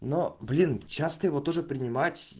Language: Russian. но блин часто его тоже принимать